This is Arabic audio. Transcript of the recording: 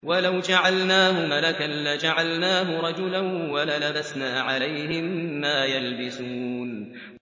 وَلَوْ جَعَلْنَاهُ مَلَكًا لَّجَعَلْنَاهُ رَجُلًا وَلَلَبَسْنَا عَلَيْهِم مَّا يَلْبِسُونَ